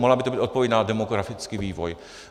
Mohla by to být odpověď na demografický vývoj.